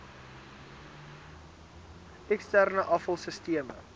eksterne afval sisteme